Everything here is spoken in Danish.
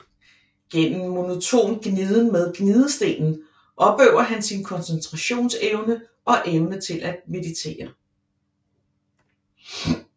Gennem monoton gniden med gnidestenen opøver han sin koncentrationsevne og evne til at meditere